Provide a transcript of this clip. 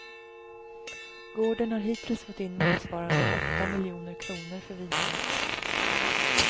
Gården har hittills fått in motsvarande åtta miljoner kronor för vinerna.